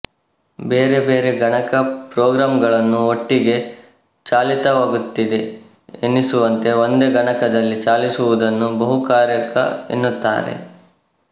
ಬೇರೆ ಬೇರೆ ಗಣಕ ಪ್ರೋಗ್ರಾಂಗಳನ್ನು ಒಟ್ಟಿಗೆ ಚಾಲಿತವಾಗುತ್ತಿದೆ ಎನ್ನಿಸುವಂತೆ ಒಂದೇ ಗಣಕದಲ್ಲಿ ಚಾಲಿಸುವುದನ್ನು ಬಹುಕಾರ್ಯಕ ಎನ್ನುತ್ತಾರೆ